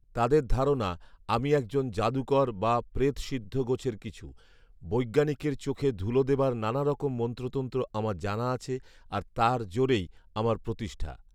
তাদের ধারণা, আমি একজন জাদুকর বা প্ৰেতসিদ্ধ গোছের কিছু; বৈজ্ঞানিকের চোখে ধুলো দেবার নানারকম মন্ত্রতন্ত্র আমার জানা আছে, আর তার জোরেই আমার প্রতিষ্ঠা